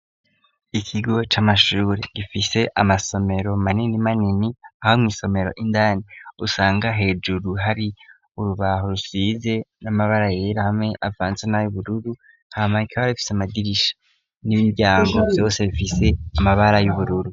Ikigo c'amashure gifise amasomero manini manini aho mwisomero indani usanga hejuru hari urubaho rusize n'amabara yera hamwe avanzwe n'a y'ubururu bifise amadirisha n'imiryango Vyose bifise amabara y'ubururu.